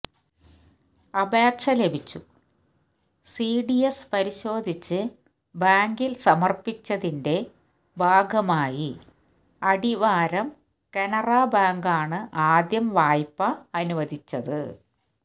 അപേക്ഷ ലഭിച്ചു സിഡിഎസ് പരിശോധിച്ച് ബാങ്കില് സമര്പ്പിച്ചതിന്റെ ഭാഗമായി അടിവാരം കനറ ബാങ്കാണ് ആദ്യം വായ്പ അനുവദിച്ചത്